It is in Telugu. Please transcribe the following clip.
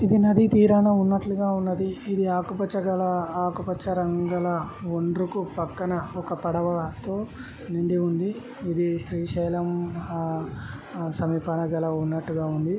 ఇది నది తీరాన ఉన్నట్లుగా ఉన్నదీ ఇది ఆకు పచ్చ కలర్లో ఆకు పచ్చ రంగులో ఒండ్రుకు పక్కన ఒక పడవతో నిండి ఉంది ఇది శ్రీశైలం ఆ సమీపాన గల ఉన్నట్టుగా ఉంది.